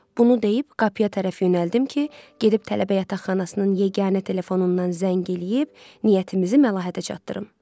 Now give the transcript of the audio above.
Bunu deyib qapıya tərəf yönəldim ki, gedib tələbə yataqxanasının yeganə telefonundan zəng eləyib niyyətimizi Məlahətə çatdırım.